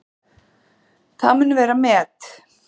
Það mun vera met.